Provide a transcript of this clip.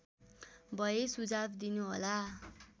भए सुझाव दिनुहोला